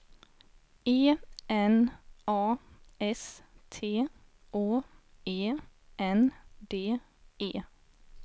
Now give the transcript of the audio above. E N A S T Å E N D E